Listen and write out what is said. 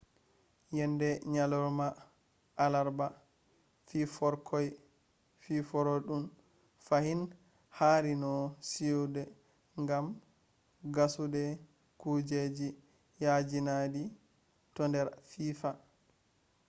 yende nyalorma alarba fiforkoi fiifarudun fahin hari no siyude gam gassude kujeji yaajinaidi to nder fiifa